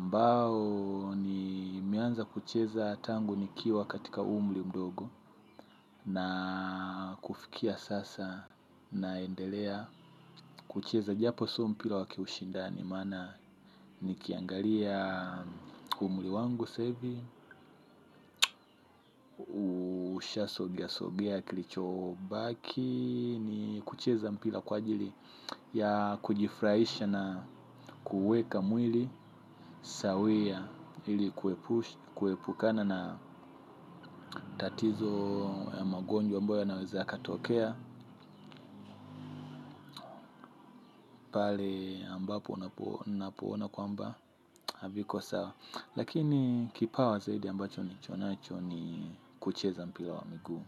Mbao nimeanza kucheza tangu nikiwa katika umri mdogo naaa kufikia sasa naendelea kucheza japo sio mpira wa kiushindani maana niki angalia umri wangu sasa hivi usha sogea sogea kilichobaki. Ni kucheza mpila kwa ajili ya kujifuraisha na kuuweka mwili yawiya ili kuepush kuepukana na tatizo magonjwa ambayo yanawezakatokea pale ambapo napo napoona kwamba haviko sawa. Lakini kipawa zaidi ambacho nilichonacho ni kucheza mpira wa miguu.